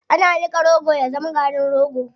Ana niƙa rogo ya zama garin rogo.